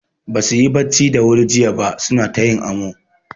Basu yi bacci da wuri jiya ba suna ta yin amo.